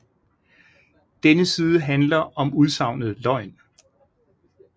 Denne side handler om udsagnet løgn